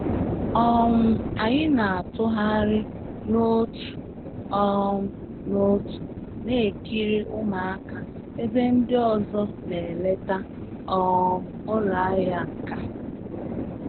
um Anyị na-atụgharị n'otu um n'otu na-ekiri ụmụaka ebe ndị ọzọ na-eleta um ụlọ ahịa nka